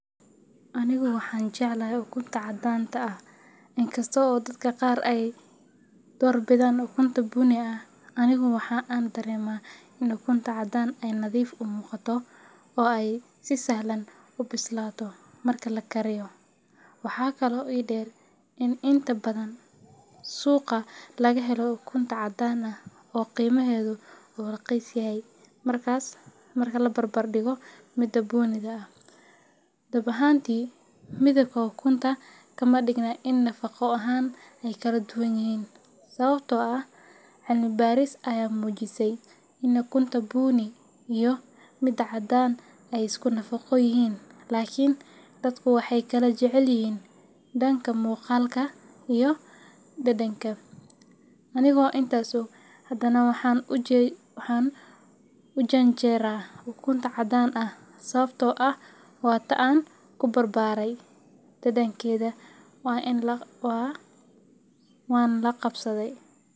Anigu waxaan jeclahay ukunta cadaan ah. Inkasta oo dadka qaar ay doorbidaan ukunta bunni ah, anigu waxa aan dareemaa in ukunta cadaan ah ay nadiif u muuqato, oo ay si sahlan u bislaato marka la kariyo. Waxaa kaloo ii dheer in inta badan suuqa laga helo ukunta cadaan ah oo qiimaheedu uu raqiis yahay marka la barbar dhigo mid dunni ah. Dhab ahaantii, midabka ukunta kama dhigna in nafaqo ahaan ay kala duwan yihiin, sababtoo ah cilmi-baaris ayaa muujisay in ukunta bunni iyo midda cadaan ay isku nafaqo yihiin, laakiin dadku waxay kala jecel yihiin dhanka muuqaalka iyo dhadhanka. Aniga oo taas og, haddana waxaan u janjeeraa ukunta cadaan ah sababtoo ah waa tan aan ku barbaaray, dhadhankeedana waan la qabsadhay